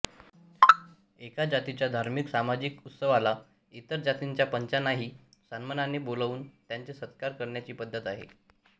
एका जातीच्या धार्मिक सामाजिक उत्सवाला इतर जातीच्या पंचांनाही सन्मानाने बोलावून त्यांचा सत्कार करण्याची पद्धत आहे